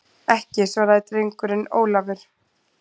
Ekki, svaraði drengurinn Ólafur.